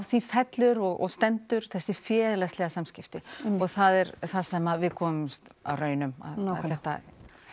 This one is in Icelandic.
því fellur og stendur þessi félagslegu samskipti og það er það sem við komumst á raun um þetta